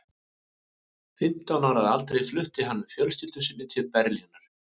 Fimmtán ára að aldri flutti hann með fjölskyldu sinni til Berlínar.